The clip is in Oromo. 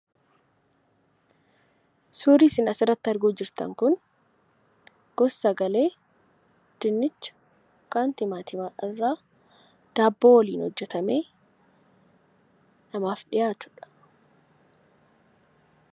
Suurri isin asirratti arguutti jirtan kun gos´- sagalee , dinnicha yookaan timaatima daabboo waliin hojjatamee, namaaf dhiyaatuudha.